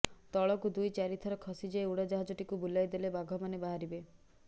ତଳକୁ ଦୁଇ ଚାରିଥର ଖସିଯାଇ ଉଡ଼ାଜାହଜଟିକୁ ବୁଲାଇଦେଲେ ବାଘମାନେ ବାହାରିବେ